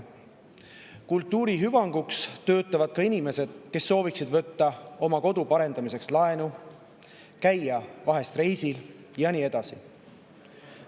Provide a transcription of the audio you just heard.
Ka kultuuri hüvanguks töötavad inimesed sooviksid võtta oma kodu parendamiseks laenu, käia vahel reisil ja nii edasi.